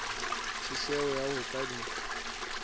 tjheseho ya ho ka di